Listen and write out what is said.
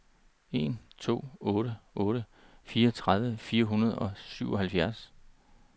en to otte otte fireogtredive fire hundrede og syvoghalvfjerds